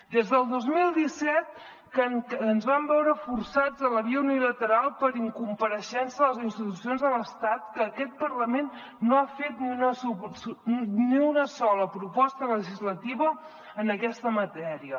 des del dos mil disset que ens vam veure forçats a la via unilateral per incompareixença de les institucions de l’estat que aquest parlament no ha fet ni una sola proposta legislativa en aquesta matèria